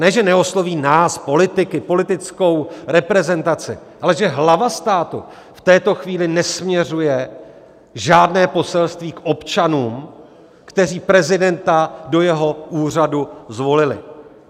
Ne že neosloví nás, politiky, politickou reprezentaci, ale že hlava státu v této chvíli nesměřuje žádné poselství k občanům, kteří prezidenta do jeho úřadu zvolili.